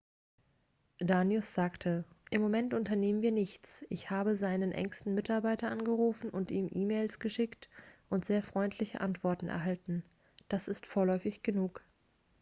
danius sagte im moment unternehmen wir nichts ich habe seinen engsten mitarbeiter angerufen und ihm e-mails geschickt und sehr freundliche antworten erhalten das ist vorläufig genug